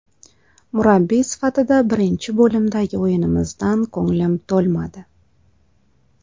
Murabbiy sifatida birinchi bo‘limdagi o‘yinimizdan ko‘nglim to‘lmadi.